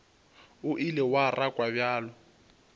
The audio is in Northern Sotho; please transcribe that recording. o ile wa rakwa bjalo